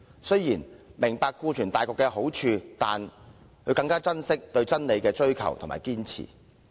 雖然她明白顧全大局的好處，但更加珍惜對真理的追求及堅持。